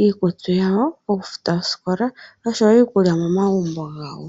iikutu yawo, oku futa osikola oshowo oku landa iikulya momagumbo gawo.